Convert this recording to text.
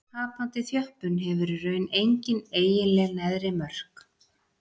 Tapandi þjöppun hefur í raun engin eiginleg neðri mörk.